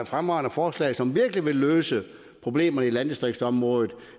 fremragende forslag som virkelig vil løse problemerne på landdistriktsområdet